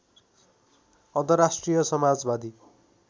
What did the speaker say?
अन्तर्राष्ट्रिय समाजवादी